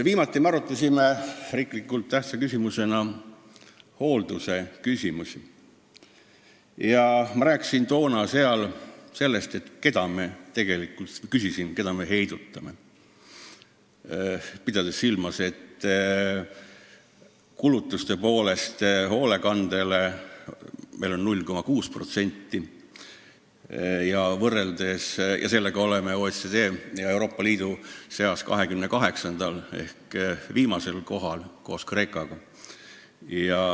Viimati me arutasime olulise tähtsusega riikliku küsimusena hoolduse probleeme ja ma küsisin, keda me tegelikult heidutame, pidades silmas, et me kulutame hoolekandele 0,6% SKT-st ja oleme selle näitajaga OECD-s kehval kohal ja Euroopa Liidu riikide seas 28. ehk viimasel kohal koos Kreekaga.